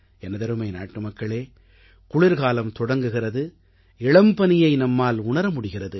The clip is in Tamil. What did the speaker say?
எனதருமை நாட்டுமக்களே குளிர்காலம் தொடங்குகிறது இளம்பனியை நம்மால் உணர முடிகிறது